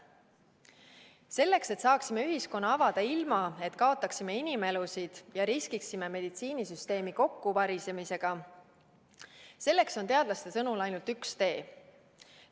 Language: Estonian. Selleks, et saaksime ühiskonna avada ilma, et kaotaksime inimelusid ja riskiksime meditsiinisüsteemi kokkuvarisemisega, on teadlaste sõnul ainult üks tee.